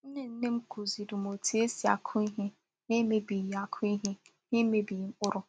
Nnènnè m kụ̀zìrì m otú e si akụ ihe n’emebighị akụ ihe n’emebighị mkpụrụ.